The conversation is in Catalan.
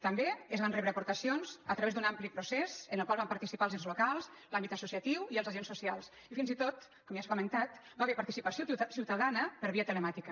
també es van rebre aportacions a través d’un ampli procés en el qual van participar els ens locals l’àmbit associatiu i els agents socials i fins i tot com ja s’ha comentat hi va haver participació ciutadana per via telemàtica